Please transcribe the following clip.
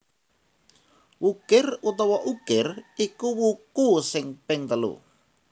Wukir utawa Ukir iku wuku sing ping telu